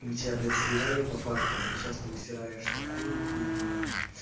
мы тебя блядь сливали по фактам и сейчас ты высираешь такую хуйню